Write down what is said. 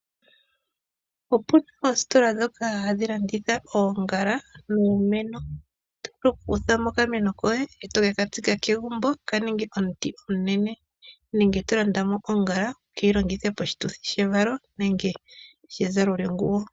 Opu na oositola ndhoka hadhi landitha oongala niimeno. Oto vulu okulanda okameno koye eto ke ka tsika kegumbo ka ninge omuti omunene, nenge to landa oongala wu ke dhi longithe moshituthi shevalo nenge shezalo lyeguwo.